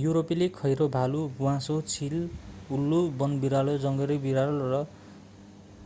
युरोपेली खैरो भालु ब्वाँसो चील उल्लु वनबिरालो जङ्गली बिरालो र